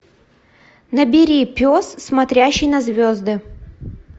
набери пес смотрящий на звезды